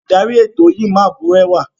Oludari eto yii ma burẹwa.